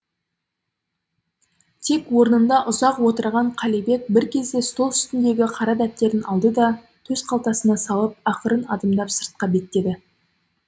тек орнында ұзақ отырған қалибек бір кезде стол үстіндегі қара дәптерін алды да төс қалтасына салып ақырын адымдап сыртқа беттеді